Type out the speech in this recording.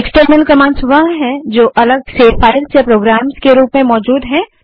external commands वह है जो अलग से फाइल्स या प्रोग्राम्स के रूप में मौजूद है